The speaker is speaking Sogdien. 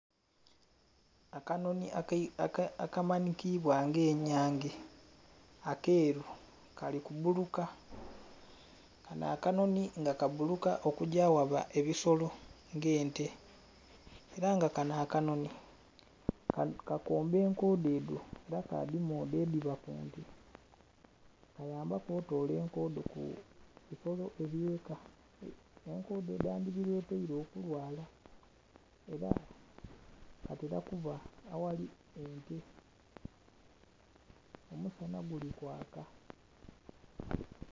Akanonhi akamanikibwa nga enyange akeru kali kubbuluka, kano akanonhi kabbuluka okugya aghaba ebisolo nga ente era nga kano akanonhi kakomba enkodho edho era kadhimodha edhiba kunte. Kayambaku otola enkodho kubisolo ebyeka enkodho edhandhibiretere okulwala era katera kuba aghali ente, omusana gulikwaka.